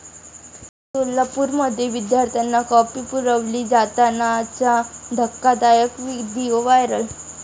सोलापुरमध्ये विद्यार्थ्यांना कॉपी पुरवली जातानाचा धक्कादायक व्हिडिओ व्हायरल!